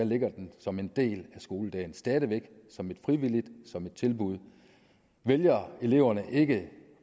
ligger den som en del af skoledagen stadig væk som et frivilligt tilbud vælger eleverne ikke